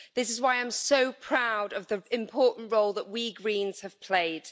This is why I'm so proud of the important role that we Greens have played.